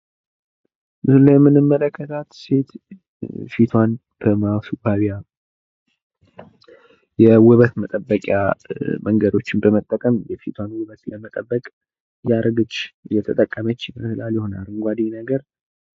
ምስሉ ላይ የምንመለከታት ሴት ፊቷን በማስዋቢያ በመጠቀም እያስዋበች ትገኛለች። አረንጓዴ ነገር ተጠቅማለች።